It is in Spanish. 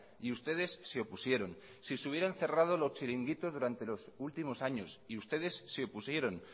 y ustedes se opusieron si se hubieron cerrado los chiringuitos durante los últimos años y ustedes se opusieron